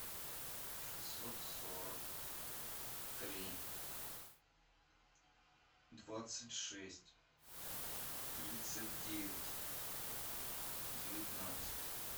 шестьсот сорок три двадцать шесть тридцать девять девятнадцать